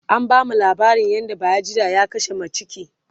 an bamu laabarin yadda bayajidda ya kashe maciki